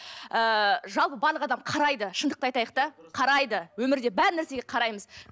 ы жалпы барлық адам қарайды шындықты айтайық та қарайды өмірде бар нәрсеге қараймыз